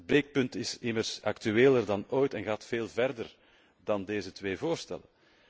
Het breekpunt is immers actueler dan ooit en gaat veel verder dan deze twee voorstellen.